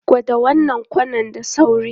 Kwada wannan kwanan da sauri!